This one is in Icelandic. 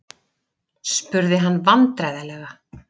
spurði hann vandræðalega.